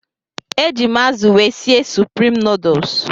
Eji m azụ wee sie suprim nuduls.